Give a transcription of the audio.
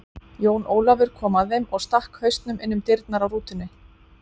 Jón Ólafur kom að þeim og stakk hausnum inn um dyrnar á rútunni.